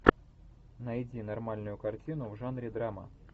найди нормальную картину в жанре драма